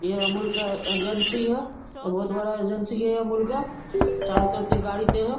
ये अमूल का एजेंसी है। बहुत बड़ा एजेंसी है अमूल का चारों तरफ गाड़ी है ।